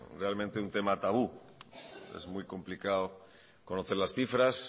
realmente un tema tabú es muy complicado conocer las cifras